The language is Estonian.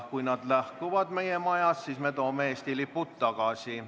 Kui külalised lahkuvad meie majast, siis me toome Eesti lipud tagasi.